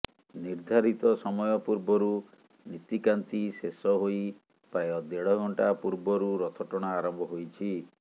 ନିର୍ଦ୍ଧାରିତ ସମୟ ପୂର୍ବରୁ ନୀତିକାନ୍ତି ଶେଷ ହୋଇ ପ୍ରାୟ ଦେଢ଼ ଘଣ୍ଟା ପୂର୍ବରୁ ରଥଟଣା ଆରମ୍ଭ ହୋଇଛି